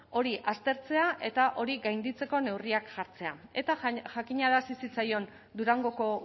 hori aztertzea eta hori gainditzeko neurriak jartzea eta jakinarazi zitzaion durangoko